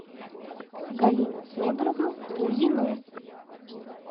галину федоровну лузину